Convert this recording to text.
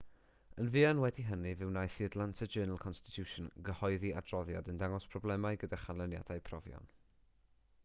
yn fuan wedi hynny fe wnaeth the atlanta journal-constitution gyhoeddi adroddiad yn dangos problemau gyda chanlyniadau profion